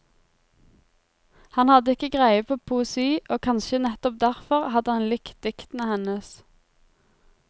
Han hadde ikke greie på poesi, og kanskje nettopp derfor hadde han likt diktene hennes.